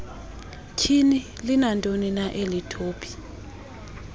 tyhini linantonina elitopi